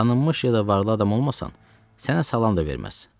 Tanınmış yə da varlı adam olmasan, sənə salam da verməz.